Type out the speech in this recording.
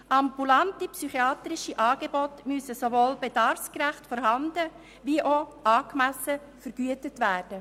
Ambulante psychiatrische Angebote müssen sowohl bedarfsgerecht vorhanden als auch angemessen vergütet werden.